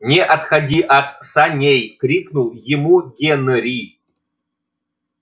не отходи от саней крикнул ему генри